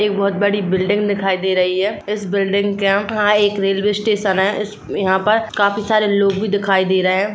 एक बहोत बड़ी बिल्डिंग दिखाई दे रही है इस बिल्डिंग के यह एक रेलवे स्टेशन है यहाँ पर काफी सारे लोग भी दिखाई दे रहे हैं।